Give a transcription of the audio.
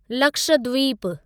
Lakshadweep